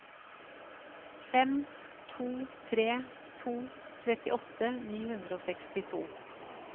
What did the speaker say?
fem to tre to trettiåtte ni hundre og sekstito